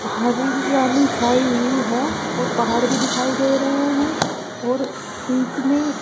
हरियाली छाई हुई है और पहाड़ भी दिखाई दे रहे हैं और बीच में --